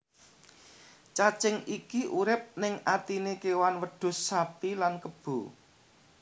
Cacing iki urip ning atiné kewan wedhus sapi lan kebo